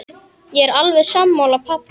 Ég er alveg sammála pabba.